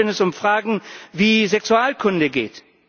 Schon gar nicht, wenn es um Fragen wie Sexualkunde geht.